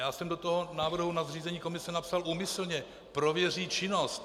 Já jsem do toho návrhu na zřízení komise napsal úmyslně: prověří činnost.